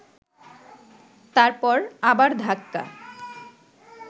তারপর আবার ধাক্কা